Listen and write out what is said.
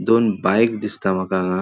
दोन बाइक दिसता मका हांगा.